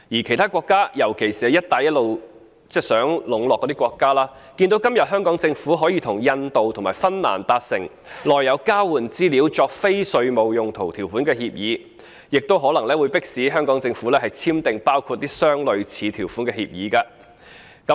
其他國家，尤其是在"一帶一路"下中國想籠絡的國家，看到今天香港政府可以與印度及芬蘭達成內有交換資料作非稅務用途條款的協定，亦可能會迫使香港政府簽訂包括類似條款的協定。